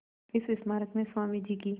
इस स्मारक में स्वामी जी की